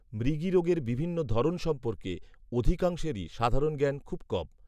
মৃগীরোগের বিভিন্ন ধরন সম্পর্কে অধিকাংশেরই সাধারণ জ্ঞান খুব কম